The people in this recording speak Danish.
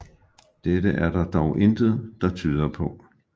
Dette er der dog intet der tyder på